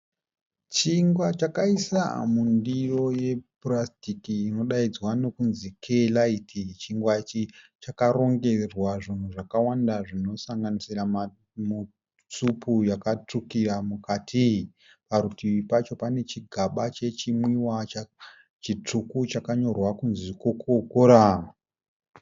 Chingwa chakaiswa mundiro yepurasitiki inodaidzwa nokunzi "kaylite". Chingwa ichi chakarongerwa zvinhu zvakawanda zvinosanganisira supu yakatsvukira mukati. Parutivi pacho pane chigamba chechinwiwa chitsvuku chakanyorwa kunzi "Coca-cola".